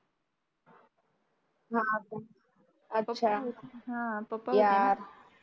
हा पप्पा यार